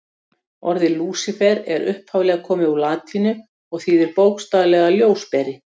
Orðið Lúsífer er upphaflega komið úr latínu og þýðir bókstaflega ljósberi.